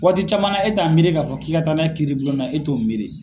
Waati camanna e t'a miiri k'a fɔ k'i ka taa n'a ye kiiribulon na e t'o miiri.